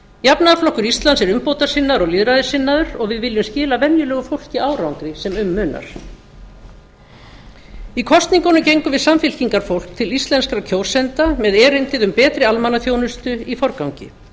jafnaðarflokkur íslands er umbótasinnaður og lýðræðissinnaður og við viljum skila venjulegu fólki árangri sem um munar í kosningunum gengum við samfylkingarfólk til íslenskra kjósenda með erindi um betri almannaþjónustu í forgangi